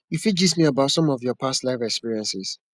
you fit gist me about some of your past life experiences